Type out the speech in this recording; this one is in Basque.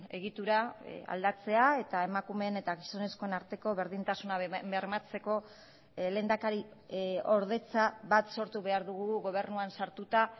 egitura aldatzea eta emakumeen eta gizonezkoen arteko berdintasuna bermatzeko lehendakariordetza bat sortu behar dugu gobernuan sartuta